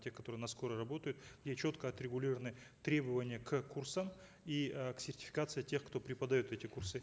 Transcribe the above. тех которые на скорой работают где четко отрегулированы требования к курсам и э к сертификации тех кто преподает эти курсы